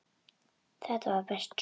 Þetta var best svona.